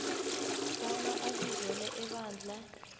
bona abizelwe ebandla